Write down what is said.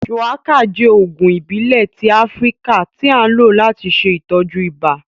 Shuwaka jẹ oogun ibile ti Afirika ti a lo lati ṣe itọju ibà.